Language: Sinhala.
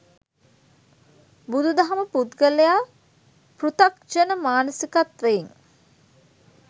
බුදුදහම පුද්ගලයා පෘථග්ජන මානසිකත්වයෙන්